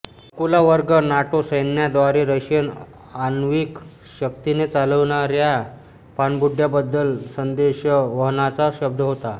अकुला वर्ग नाटो सैन्याद्वारे रशियन आण्विक शक्तीने चालणाऱ्या पानबुड्यांबद्दल संदेशवहनाचा शब्द होता